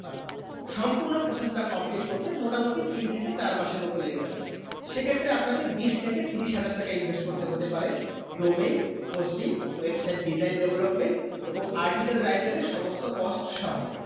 সম্পূর্ণ process টা complete করতে মোটামোটি তিন থেকে চার মাসের মতুন লেগে যাবে সেক্ষেত্রে আপ্নে কে বীজ থেকে ত্রিশ হাজার টাকা invest করতে হতে পারে domain hosting website design এবং article writer এর সমস্ত cost সোহো